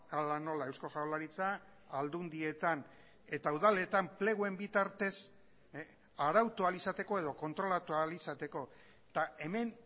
hala nola eusko jaurlaritza aldundietan eta udaletan pleguen bitartez arautu ahal izateko edo kontrolatua ahal izateko eta hemen